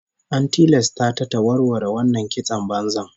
An tilasta ta ta warware wannan kiston banzan